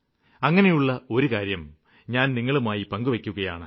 അങ്ങിനെയുള്ള ഒരു കാര്യം ഞാന് നിങ്ങളുമായി പങ്കുവെയ്ക്കുകയാണ്